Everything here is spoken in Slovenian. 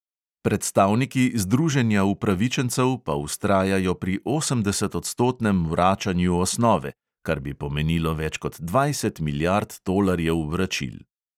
Predstavniki združenja upravičencev pa vztrajajo pri osemdesetodstotnem vračanju osnove, kar bi pomenilo več kot dvajset milijard tolarjev vračil.